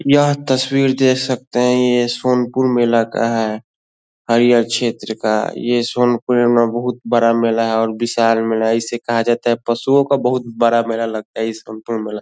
ये तस्वीर देख सकते है ये इस सोनपुर मेला का है हरियल छेत्र का ये सोनपुर पुरे में बहुत बड़ा मेला है और दशहरे में ल इसे कहा जाता हैं पशु का बहुत बड़ा मेला लग इस में लग--